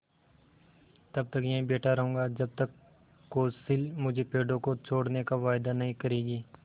तब तक यहीं बैठा रहूँगा जब तक कौंसिल मुझे पेड़ों को छोड़ने का वायदा नहीं करेगी